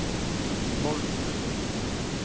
Tolvsrød